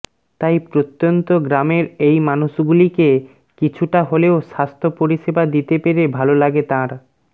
তাই প্রত্যন্ত গ্রামের এই মানুষগুলিকে কিছুটা হলেও স্বাস্থ্য পরিষেবা দিতে পেরে ভালো লাগে তাঁর